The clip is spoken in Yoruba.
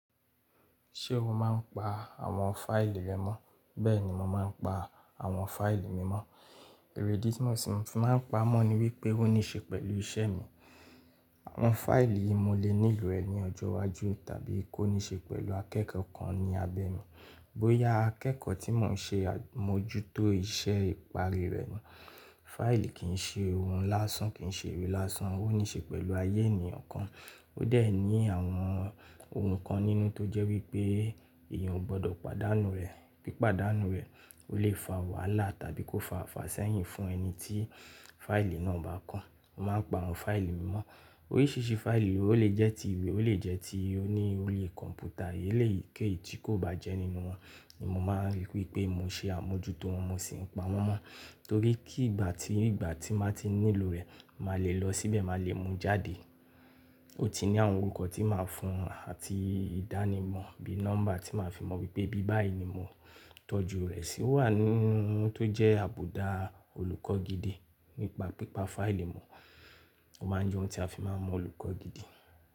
Ṣé o máa ń pa àwọn fáìlì rẹ mọ́? Bẹ́ẹ̀ ni mo máa ń pa àwọn fáìlì mi mọ́. Ìrídí tí mo sì fi máa ń pa mọ́ ni wípé ó níṣe pẹ̀lú iṣẹ́ mi. Àwọn fáìlì yìí mo lè nílò rẹ̀ ní ọjọ́ iwájú tàbí kó níṣe pẹ̀lú akẹ́kọ̀ọ́ kan ní abẹ́ mi. Bóyá akẹ́kọ̀ọ́ tí mò ń ṣe àmójútó iṣẹ́ ìparí rẹ̀ ni. Fáìlì kì í ṣe ohun lásán, kì í ṣe ìwé lásán, ó níṣe pẹ̀lú ayé ènìyàn kan. Ó dẹ̀ ní àwọn ohun kan nínú tó jẹ́ wípé èèyàn ò gbọdọ̀ pàdánù rẹ̀, pé pàdánù rẹ̀ ó lè fa wàhálà tàbí kó fa ifásẹ́yìn fún ẹni tí fáìlì náà bá kan. Mo máa ń pa àwọn fáìlì mi mọ́. Oríṣiríṣi fáìlì ló le jẹ́ ti ìwé, ó lè jẹ́ ti oní ọri kọ̀m̀pútà, èlèyii ké yi tí kò bá jẹ́ nínú wọn ni mo máa rí wípé mo ṣe àmójútó wọn, mo sì ń pa wọ́n mọ́. Torí kí ìgbà tí, ìgbà tí máa ti nílò rẹ̀, màá le lọ síbẹ̀, màá le mú jáde. Ó ti ní àwọn orúkọ tí màá fún un àti ìdánimọ̀ bí nọ́mbà tí màá fi mọ wípé bí báyìí ni mo tọ́jú rẹ̀ sí. Ó wà nínú ohun tó jẹ́ àbùdá olùkọ́ gidi nípa pípa fáìlì mu. Ó máa ń jẹ́ ohun tí a fi máa mọ olùkọ́ gidi.